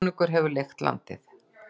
Konungur hefur leigt landið.